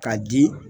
K'a di